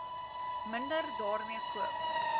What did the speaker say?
minder daarmee koop